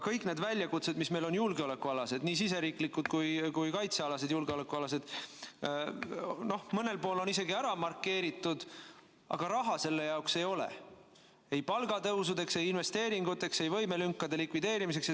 Kõik need väljakutsed, mis meil on julgeolekualased, nii siseriiklikud kui ka kaitsealased, on mõnel pool isegi ära markeeritud, aga raha nende jaoks ei ole, ei palgatõusudeks, ei investeeringuteks, ei võimelünkade likvideerimiseks.